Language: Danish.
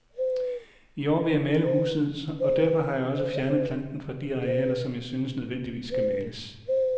I år vil jeg male huset, og derfor har jeg også fjernet planten fra de arealer, som jeg synes nødvendigvis skal males.